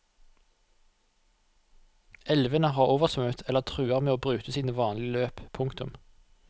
Elvene har oversvømmet eller truer med å bryte sine vanlige løp. punktum